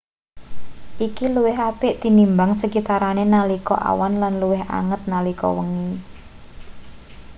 iki luwih apik tinimbang sekitarane nalika awan lan luwih anget nalika wengi